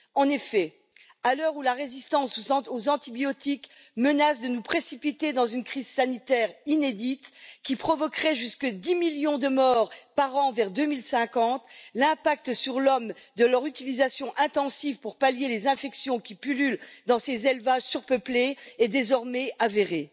En effet, à l'heure où la résistance aux antibiotiques menace de nous précipiter dans une crise sanitaire inédite, qui provoquerait jusqu'à 10 millions de morts par an vers 2050, l'impact sur l'homme de leur utilisation intensive pour pallier les infections qui pullulent dans ces élevages surpeuplés est désormais avéré.